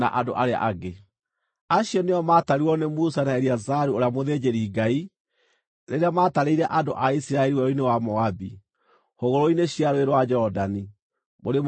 Acio nĩo maatarirwo nĩ Musa na Eleazaru ũrĩa mũthĩnjĩri-Ngai rĩrĩa maatarĩire andũ a Isiraeli werũ-inĩ wa Moabi hũgũrũrũ-inĩ cia Rũũĩ rwa Jorodani, mũrĩmo ũyũ wa Jeriko.